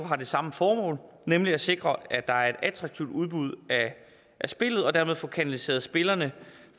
har det samme formål nemlig at sikre at der er et attraktivt udbud af spillet og dermed at få kanaliseret spillerne